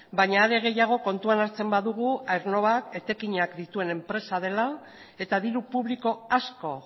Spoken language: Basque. baina are gehiago kontuan hartzen badugu aernnovak etekinak dituen enpresa dela eta diru publiko asko